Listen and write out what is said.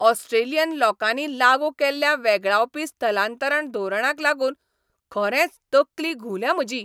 Australian लोकांनी लागू केल्ल्या वेगळावपी स्थलांतरण धोरणांक लागून खरेंच तकली घुंवल्या म्हजी.